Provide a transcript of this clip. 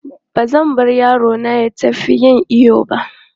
Ba zan bar yaro na ya tafi yin iyo ba.